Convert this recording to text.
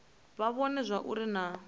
vha vhone zwauri hu na